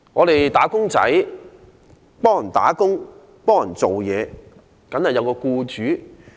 "打工仔"受僱工作，當然應有僱主。